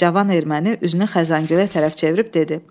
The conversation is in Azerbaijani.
Cavan erməni üzünü Xəzəngülə tərəf çevirib dedi: